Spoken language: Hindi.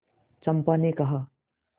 चंपा ने कहा